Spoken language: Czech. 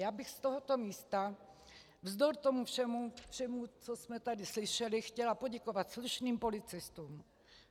Já bych z tohoto místa vzdor tomu všemu, co jsme tady slyšeli, chtěla poděkovat slušným policistům.